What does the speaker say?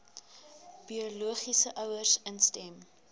biologiese ouers instem